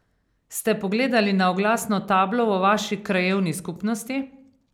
Ste pogledali na oglasno tablo v vaši krajevni skupnosti?